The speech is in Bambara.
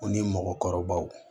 O ni mɔgɔkɔrɔbaw